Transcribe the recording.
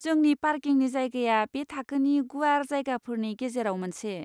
जोंनि पार्किंनि जायगाया बे थाखोनि गुवार जायगाफोरनि गेजेराव मोनसे।